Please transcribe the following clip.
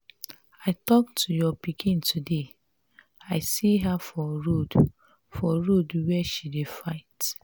i talk to your pikin today. i see her for road for road where she dey fight.